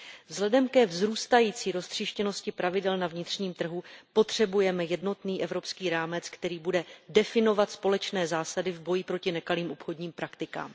Vzhledem ke vzrůstající roztříštěnosti pravidel na vnitřním trhu potřebujeme jednotný evropský rámec, který bude definovat společné zásady v boji proti nekalým obchodním praktikám.